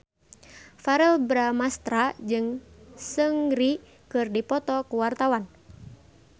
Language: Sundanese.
Verrell Bramastra jeung Seungri keur dipoto ku wartawan